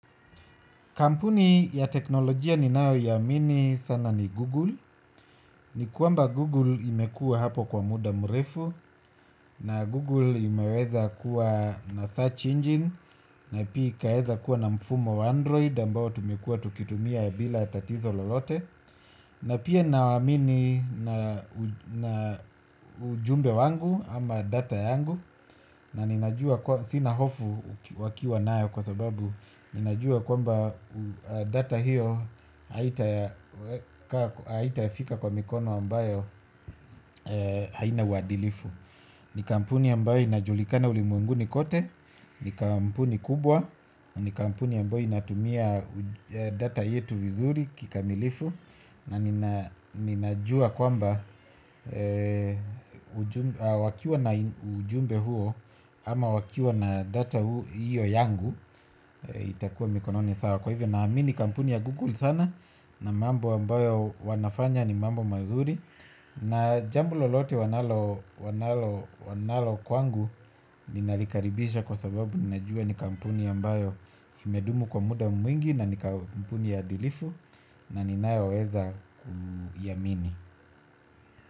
Kampuni ya teknolojia ni nayo iamini sana ni Google. Ni kwamba Google imekuwa hapo kwa muda mrefu na Google imeweza kuwa na search engine na pia ikaweza kuwa na mfumo wa Android ambao tumekuwa tukitumia bila tatizo lolote. Na pia nawaamini na ujumbe wangu ama data yangu na ninajua sina hofu wakiwa nayo kwa sababu ninajua kwamba data hiyo haitafika kwa mikono ambayo haina uadilifu ni kampuni ambayo inajulikana ulimwenguni kote ni kampuni kubwa na ni kampuni ambayo inatumia data yetu vizuri kikamilifu na ninajua kwamba wakiwa na ujumbe huo ama wakiwa na data hiyo yangu itakua mikononi sawa kwa hivyo na amini kampuni ya Google sana na mambo ambayo wanafanya ni mambo mazuri na jambo lolote wanalo kwangu. Ninalikaribisha kwa sababu ninajua ni kampuni ambayo imedumu kwa muda mwingi na ni kampuni adilifu na ninayo weza kuiamini.